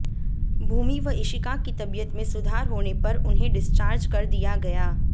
भूमि व इशिका की तबीयत में सुधार होने पर उन्हें डिस्चार्ज कर दिया गया